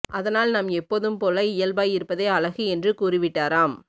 அதனால் நாம் எப்போதும் போல இயல்பாய் இருப்பதே அழகு என்று கூறிவிட்டாராம்